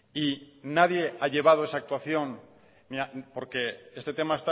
y nadie ha llevado esa actuación porque este tema